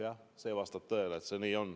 Jah, see vastab tõele, nii see on.